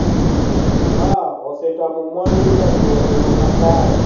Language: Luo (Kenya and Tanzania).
Ma osetamo mwandu donjo e yo makare